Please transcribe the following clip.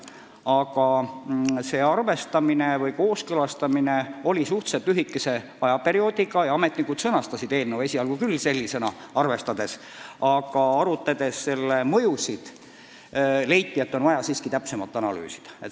See kooskõlastamine käis suhteliselt lühikest aega ja ametnikud sõnastasid eelnõu esialgu just sellisena, aga arutades selle mõjusid, leiti, et on vaja siiski täpsemalt analüüsida.